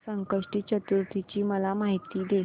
संकष्टी चतुर्थी ची मला माहिती दे